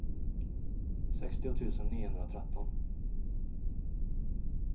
sextio tusen niohundratretton